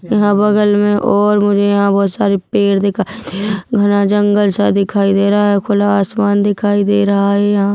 यहाँ बगल में और मुझे यहाँ बहोत सारी पेड़ दिखाई दे रहे है घना जंगल सा दिखाई दे रहा है खुला आसमान दिखाई दे रहा है यहाँ--